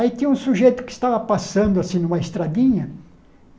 Aí tinha um sujeito que estava passando, assim, numa estradinha.